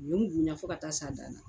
U ye bonya fo ka t'a s'a dan na